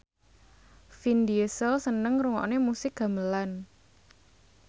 Vin Diesel seneng ngrungokne musik gamelan